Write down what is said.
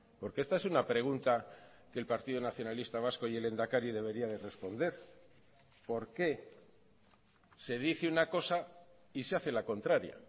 porque esta es una pregunta que el partido nacionalista vasco y el lehendakari debería de responder por qué se dice una cosa y se hace la contraria